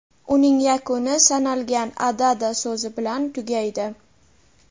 uning yakuni "sanalgan" (adada) so‘zi bilan tugaydi.